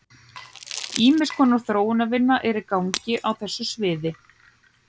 Ýmiss konar þróunarvinna er í gangi á þessu sviði.